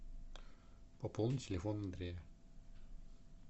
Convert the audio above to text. пополни телефон андрея